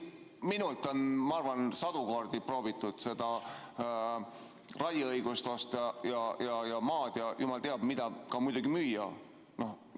Minult on, ma arvan, sadu kordi proovitud seda raieõigust osta ja maad ja jumal teab mida, ka muidugi müüa.